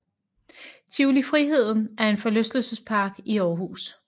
Tivoli Friheden er en forlystelsespark i Aarhus